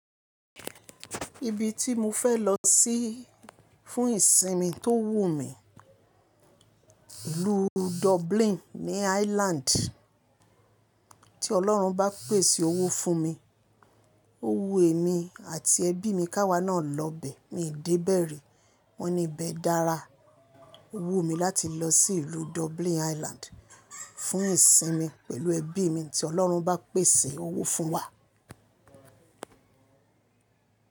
Ibi tí mo fẹ́ lọ sí fún ìsinmi tó wù mí, ìlú Dublin ní Ireland. Tí Ọlọ́run bá pèsè owó fún mi, owú èmi àti ẹbí mi ká wa náà lọ bẹ. Mi i dé bẹ ri, wọ́n ní ibẹ̀ dára. Owú mi láti lọ sí ìlú Dublin Ireland fún ìsinmi pẹ̀lú ẹbí mi tí Ọlọ́run bá pèsè owó fún wa.